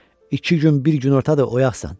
İki gün, bir günortadır oyaqsan.